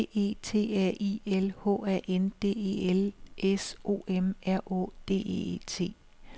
D E T A I L H A N D E L S O M R Å D E T